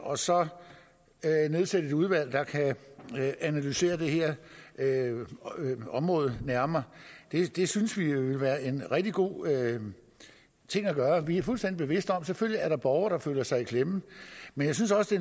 og så nedsætte et udvalg der kan analysere det her område nærmere det synes vi vil være en rigtig god ting at gøre vi er fuldstændig bevidste om selvfølgelig er borgere der føler sig i klemme men jeg synes også